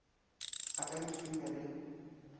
a ka a itshwenya le